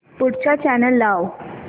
पुढचा चॅनल लाव